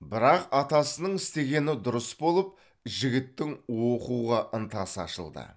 бірақ атасының істегені дұрыс болып жігіттің оқуға ынтасы ашылды